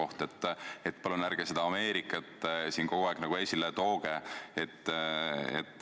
Nii et palun ärge seda Ameerikat siin kogu aeg esile tooge.